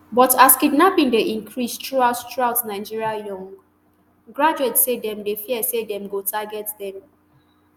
but as kidnapping dey increase throughout throughout nigeria young graduates say dem dey fear say dem go target dem